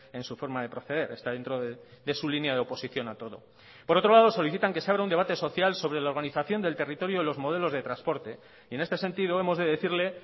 en su forma de proceder está dentro de su línea de oposición a todo por otro lado solicitan que se abra un debate social sobre la organización del territorio de los modelos de transporte y en este sentido hemos de decirle